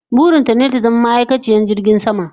Burin ta ne ta zama ma'aikaciyar jirgin sama